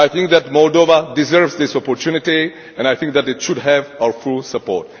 I think that Moldova deserves this opportunity and I think that it should have our full support.